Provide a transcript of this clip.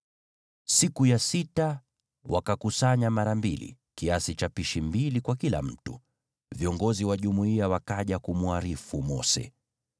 Siku ya sita, wakakusanya mara mbili, kiasi cha pishi mbili kwa kila mtu, nao viongozi wa jumuiya wakaja kumwarifu Mose.